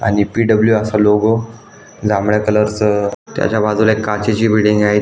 आणि पी.डब्लू. असा लोगो जांभळ्या कलर च अ त्याच्या बाजूला एक काचेची बिल्डिंग आहे.